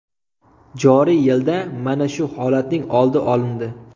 Joriy yilda mana shu holatning oldi olindi.